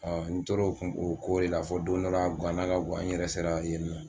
N tor'o ko de la fɔ don dɔ la a guwana ka guwa n yɛrɛ sera a